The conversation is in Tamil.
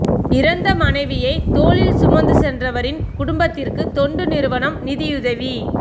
இறந்த மனைவியை தோளில் சுமந்து சென்றவரின் குடும்பத்திற்கு தொண்டு நிறுவனம் நிதியுதவி